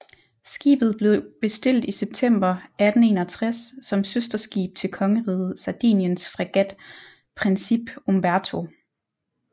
Skibet blev bestilt i september 1861 som søsterskib til kongeriget Sardiniens fregat Principe Umberto